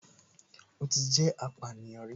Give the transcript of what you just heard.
Ó ti jẹ́ apànìyàn rí